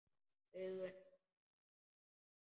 Augun ásaka mig.